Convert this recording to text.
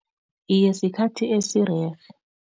Iye, sikhathi esirerhe.